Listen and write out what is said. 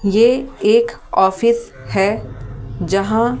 ये एक ऑफिस है जहां--